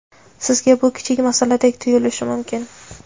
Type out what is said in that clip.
Sizga bu kichik masaladek tuyulishi mumkin.